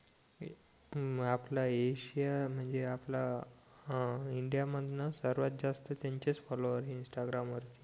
म आपला ऐशिया म्हणजे आपला अ इंडिया मधनं सर्वात जास्त त्यांचेच फॉलोवर आहे इंस्टाग्राम वर